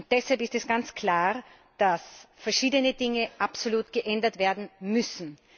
Deshalb ist es ganz klar, dass verschiedene Dinge absolut geändert werden müssen.